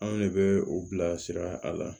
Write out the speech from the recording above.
Anw ne bɛ u bilasira a la